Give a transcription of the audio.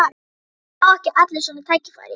Það fá ekki allir svona tækifæri.